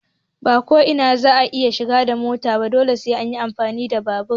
Ba ko ina za a iya shiga da mota ba dole sai an yi amfani da babur.